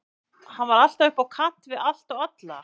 Hann var alltaf upp á kant við allt og alla.